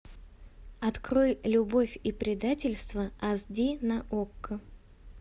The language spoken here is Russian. открой любовь и предательство ас ди на окко